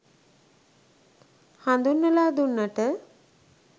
හඳුන්වලා දුන්නට.